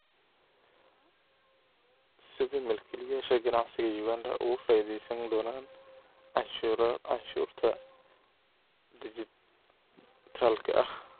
Sidee milkiilayaasha ganacsiga Uganda uga faa'iidaysan doonaan canshuurta dhijitaalka ah?